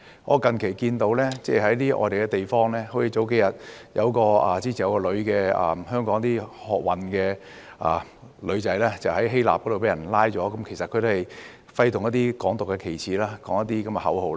我最近看到在外國一些地方，例如數天前，有一名香港女學運成員在希臘被捕，其實她是揮動了"港獨"旗幟，呼叫一些口號。